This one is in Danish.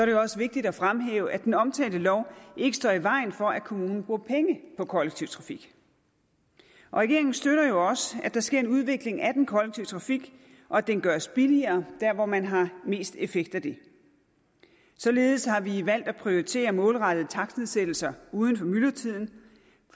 jo også vigtigt at fremhæve at den omtalte lov ikke står i vejen for at kommunen bruger penge på kollektiv trafik regeringen støtter jo også at der sker en udvikling af den kollektive trafik og at den gøres billigere der hvor man har mest effekt af det således har vi valgt at prioritere målrettede takstnedsættelser uden for myldretiden